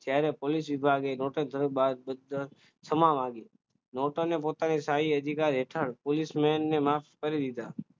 ત્યારે પોલીસ વિભાગે બાદશાહ માંથી પોતાની સારી અધિકાર હેઠળ પોલીસમેનને માફ કરી દીધા